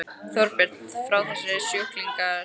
Þorbjörn: Fá þessir sjúklingar þetta lyf?